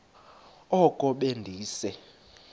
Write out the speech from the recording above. oko be ndise